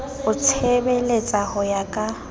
o itshebeletsa ho ya ka